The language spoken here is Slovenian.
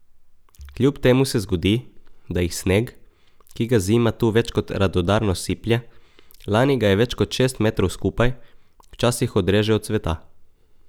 Kljub temu se zgodi, da jih sneg, ki ga zima tu več kot radodarno siplje, lani ga je več kot šest metrov skupaj, včasih odreže od sveta.